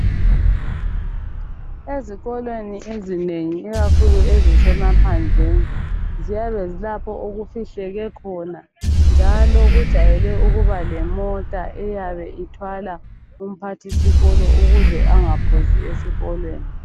Ezikolweni ezinengi ikakhulu ezisemaphandleni ziyabe zilapho okufihleke khona njalo kujayele ukuba lemota eyabe ithwala umphathisikolo ukuze engaphuzi ezikolweni.